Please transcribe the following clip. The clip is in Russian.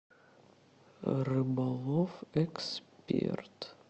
рыболов эксперт